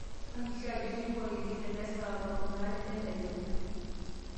hakikisha ajo atipika olkengele le saa tomon are entedekenya